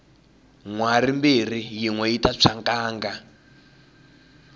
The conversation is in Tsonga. nhwari mbirhi yinwe yita tshwa nkanga